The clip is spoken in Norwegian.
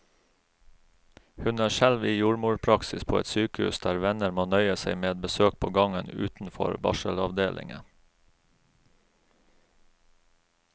Hun er selv i jordmorpraksis på et sykehus der venner må nøye seg med besøk på gangen utenfor barselavdelingen.